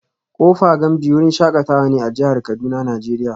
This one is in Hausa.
Kofa gamji wurin shakatawa ne a jihar Kuduna nigeria